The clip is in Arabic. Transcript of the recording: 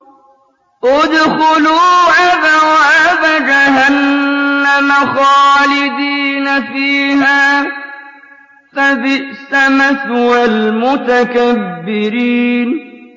ادْخُلُوا أَبْوَابَ جَهَنَّمَ خَالِدِينَ فِيهَا ۖ فَبِئْسَ مَثْوَى الْمُتَكَبِّرِينَ